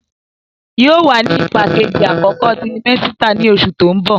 Yóò wà ní ipá Kejì àkókò tirimẹ́sítà ní oṣù tó ń bò